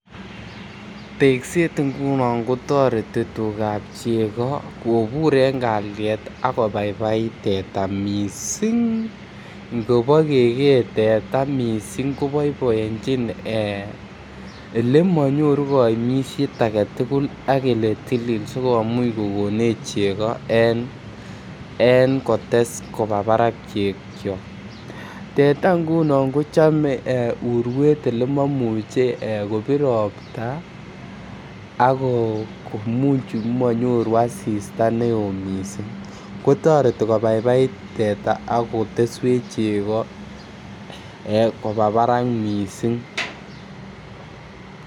Tekset ngunon kotoreti tugat chego kobur en kalyet ak kobaibait teta missing ngobo kegee teta missing ko boiboenjin ele monyoru koimset agetugul ak ele tilil sikomuch kogonech chego en kotes kobaa barak chego. Teta ngunon kochome urwet ele momuche kobir ropta ako ko muchu ko monyoru asista ne oo missing kotoreti kobaibait teta ak koteswech chego kobaa barak missing